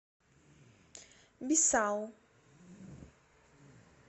бисау